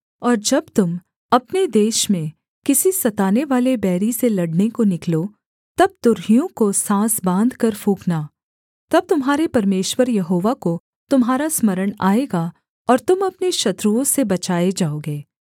और जब तुम अपने देश में किसी सतानेवाले बैरी से लड़ने को निकलो तब तुरहियों को साँस बाँधकर फूँकना तब तुम्हारे परमेश्वर यहोवा को तुम्हारा स्मरण आएगा और तुम अपने शत्रुओं से बचाए जाओगे